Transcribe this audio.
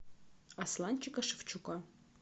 асланчика шевчука